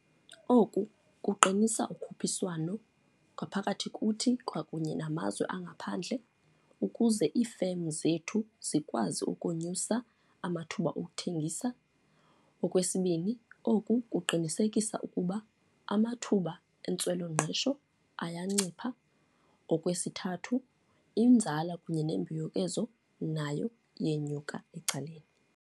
Oku kuqinisa ukhuphiswano ngaphakathi kuthi kwakunye namazwe angaphandle ukuze iifemu zethu zikwazi ukonyusa amathuba okuthengisa. Okwesibini, oku kuqinisekisa ukuba amathuba entswelangqesho ayancipha. Okwesithathu inzala kunye nembuyekezo nayo iyenyuka ecaleni.